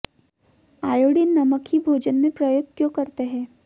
iodine नमक ही भोजन में प्रयोग क्यों करते हैं